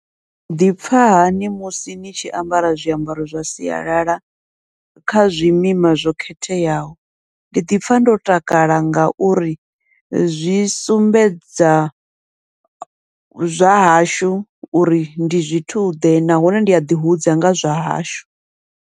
Ni ḓipfha hani musi ni tshi ambara zwiambaro zwa sialala kha zwimima zwo khetheaho, ndi ḓipfha ndo takala ngauri zwi sumbedza zwa hashu uri ndi zwithu ḓe, nahone ndi aḓi hudza nga zwa hashu.